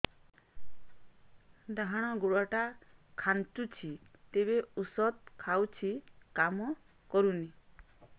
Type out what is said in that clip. ଡାହାଣ ଗୁଡ଼ ଟା ଖାନ୍ଚୁଚି ଯେତେ ଉଷ୍ଧ ଖାଉଛି କାମ କରୁନି